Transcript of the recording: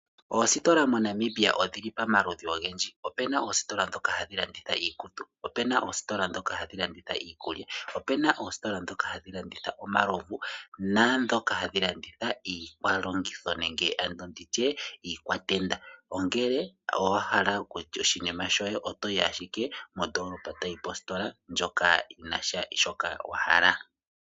Oostola moNamibia odhili pamaludhi ogendji. Opuna oostola dhoka hadhi landitha iikutu, opuna oostola dhoka hadhi landitha iikulya, opena oostola dhoka hadhi landitha omalovu naadhoka hadhi laditha iilongitho ano iikwatenda, ngele owahala oku landa oshinima shoye otoyi ashike mondolopa toyi positola ndjoka yina shoka wahala.